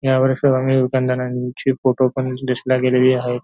यावेळेस सर्व आम्ही दुकानदारांची फोटो पण लिस्ट ला गेलेली आहेत.